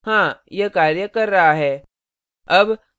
हाँ यह कार्य कर रहा है